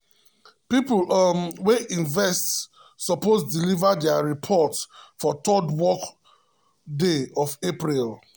people um wey invest suppose deliver their report for third work day of april.